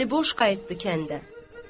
Əli boş qayıtdı kəndə.